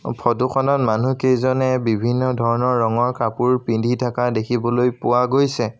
Photo খনত মানুহ কেইজনে বিভিন্ন ধৰণৰ ৰঙৰ কাপোৰ পিন্ধি থকা দেখিবলৈ পোৱা গৈছে।